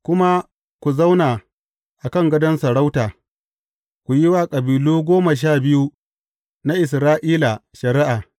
Kuma ku zauna a kan gadon sarauta, ku yi wa kabilu goma sha biyu na Isra’ila shari’a.